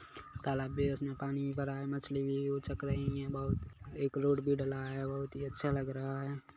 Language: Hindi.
कला बेस मे पानी भरा है मछली भी उचक रही है बहुत एक रोड भी ढला है बहुत ही अच्छा लग रहा है।